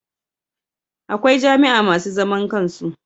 Akwai jami'a masu zaman kansu